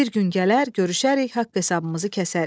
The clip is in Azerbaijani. Bir gün gələr, görüşərik, haqq hesabımızı kəsərik.